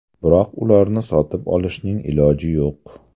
Biroq ularni sotib olishning iloji yo‘q.